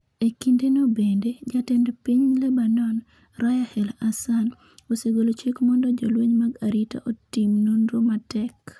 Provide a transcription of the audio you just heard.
E kindeno bende, jatend piny Lebanon, Raya el-Hassan, osegolo chik mondo jolweny mag arita otim nonro matek.